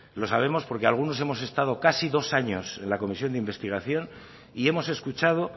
lo sabemos porque algunos hemos estado casi dos años en la comisión de investigación y hemos escuchado